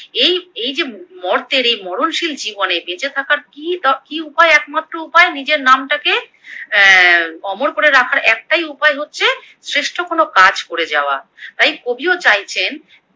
এই এই যে ম মর্তের এই মরণশীল জীবনে বেঁচে থাকার কি উপায় একমাত্র উপায় নীজের নামটাকে অ্যা অমর করে রাখার একটাই উপায় হচ্ছে শ্রেষ্ঠ কোনো কাজ করে যাওয়া, তাই কবিও চাইছেন